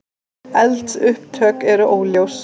Eldsupptök eru óljós